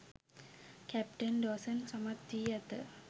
captain Dawson සමත් වී ඇත